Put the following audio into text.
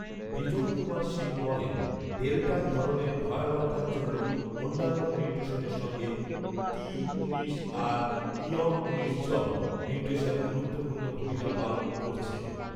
বিজন কুমার শীল বলেন, ডেল্টা ধরনের ভয়াবহতার জন্য অন্যান্য মিউটেশনের সঙ্গে টি উনিশ আর ঞ উনিশ জ মিউটেশন গুরুত্বপূর্ণ ভূমিকা পালন করছে